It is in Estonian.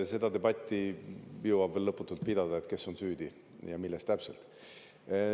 Seda debatti jõuab veel lõputult pidada, et kes on süüdi ja milles täpselt.